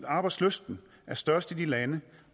arbejdslysten er størst i de lande